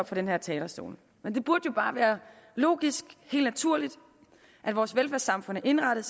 fra den her talerstol men det burde jo bare være logisk og helt naturligt at vores velfærdssamfund var indrettet